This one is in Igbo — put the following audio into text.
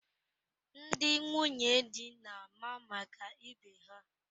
Ndị nwunye di na-ama maka ibe ha.